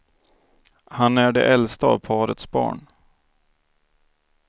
Han är det äldsta av parets barn.